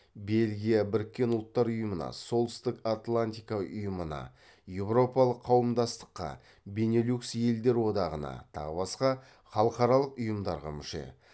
бельгия біріккен ұлттар ұйымына солтүстік атлантика ұйымына еуропалық қауымдастыққа бенилюкс елдер одағына тағы басқа халықаралық ұйымдарға мүше